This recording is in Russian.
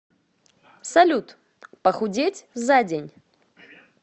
салют похудеть за день